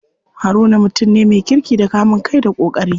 Haruna mutum ne me kirki da kamun kai da ƙoƙari.